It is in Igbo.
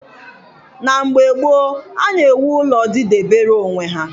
Na mgbe gboo, a na-ewu ụlọ didebere onwe ha.